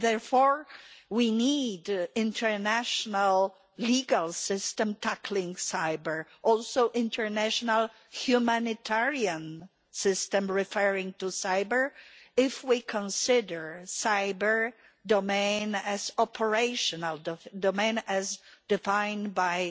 Therefore we need an international legal system tackling cyber' and also an international humanitarian system referring to cyber' if we consider the cyber domain as an operational domain, as defined by